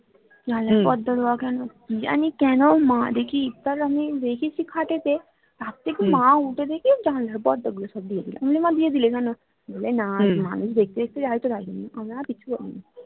জানলার পর্দা দেওয়া কেন কি জানি কেন মা দেখি ইফতার আমি রেখেছি খাটে তে তার থেকে মা উঠে দেখি জানলার পর্দা গুলো সব দিয়ে দিলো বলি মা দিয়ে দিলে কেন বলে না মানুষ দেখতে দেখতে যায় তো আমি আর কিছু বলিনি